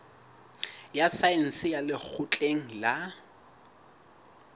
ya saense ya lekgotleng la